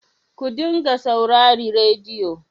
Ku dinga saurari rediyo.